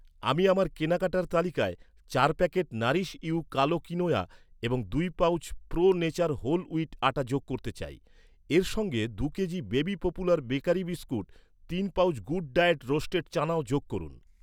আমি আমার কেনাকাটার তালিকায় চার প্যাকেট নাারিশ ইউ কালো কিনোয়া এবং দুই pouch pro nature whole wheat আটা যোগ করতে চাই। এর সঙ্গে দু'কেজি বিবি পপুলার বেকারি বিস্কুট, তিন পাউচ গুড ডায়েট রোস্টেড চানাও যোগ করুন।